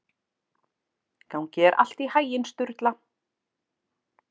Gangi þér allt í haginn, Sturla.